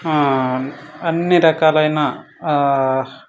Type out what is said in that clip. ఆ అన్ని రకాల్ అయిన ఆ--